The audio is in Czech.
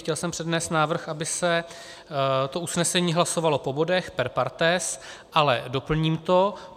Chtěl jsem přednést návrh, aby se to usnesení hlasovalo po bodech, per partes, ale doplním to.